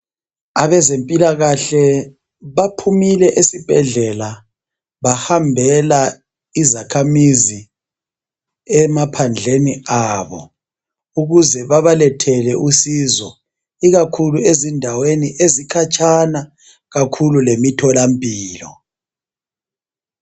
Abezempilakahle baphumile esibhedlela bahambela izakhamizi emaphandleni abo, ukuze babalethele usizo ikakhulu ezindaweni ezikhatshana kakhulu lemitholampilo.